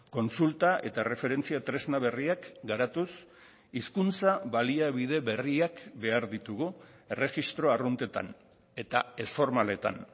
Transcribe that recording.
kontsulta eta erreferentzia tresna berriak garatuz hizkuntza baliabide berriak behar ditugu erregistro arruntetan eta ez formaletan